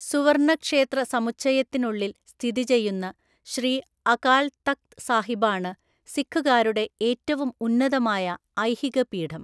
സുവർണ്ണ ക്ഷേത്ര സമുച്ചയത്തിനുള്ളിൽ സ്ഥിതി ചെയ്യുന്ന ശ്രീ അകാൽ തക്ത് സാഹിബാണ് സിഖുകാരുടെ ഏറ്റവും ഉന്നതമായ ഐഹികപീഠം.